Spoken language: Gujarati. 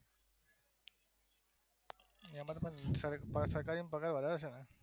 એમ જ સરકારીમાં તમારે સરકારીમાં પગાર વધાર હસેને